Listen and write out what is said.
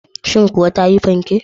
Shin kuwa ta yi fanken?